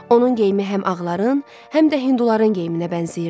Onun geyimi həm ağların, həm də hinduların geyiminə bənzəyirdi.